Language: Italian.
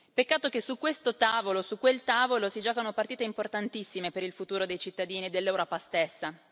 Peccato che su questo tavolo, su quel tavolo, si giochino partite importantissime per il futuro dei cittadini dell'Europa stessa.